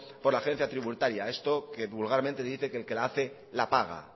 por la agencia tributaria esto que vulgarmente dice que el que la hace la paga